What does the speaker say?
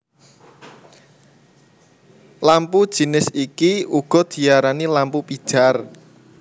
Lampu jinis iki uga diarani lampu pijar